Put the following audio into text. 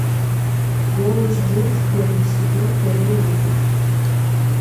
голос дети первый сезон первый выпуск